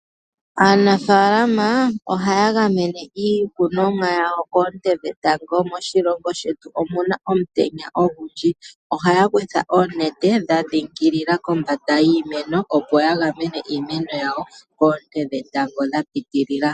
Aanafaalama oha ya gamene iikunomwa yawo koonte dhetango moshilongo shetu omuna omutenya ogundji, oha ya kutha oonete dha dhingilila kombanda yiimeno opo ya gamene iimeno yawo koonte dhetango dha piitilila.